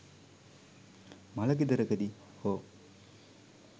මළ ගෙදරකදී හෝ